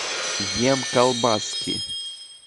емколбаски